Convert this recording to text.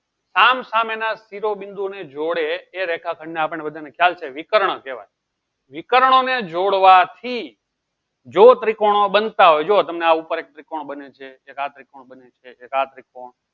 સામ સામેના શિરોબિંદુ ને જોડે એ રેખાખંડ ને આપણે બધાને ખ્યાલ છે વિકર્ણ કહેવાય વિકર્ણોને જોડવાથી જો ત્રિકોણો બનતા હોય જો તમને આ ઉપર એક ત્રિકોણ બને છે. એક આ ત્રિકોણ બને છે. એક આ ત્રિકોણ